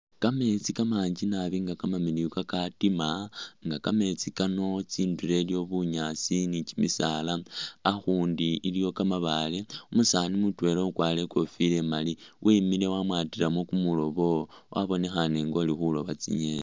Kameetsi kamanji naabi nga kamamiliyu kakatima nga kameetsi kano tsindulo iliwo bunyaasi ni kimisaala akhundi iliwo kamabaale, umusaani mutwela ukwalire ikofila imaali wimile wamwatilemo kumuloobo wabonekhane nga uli khulooba tsingeni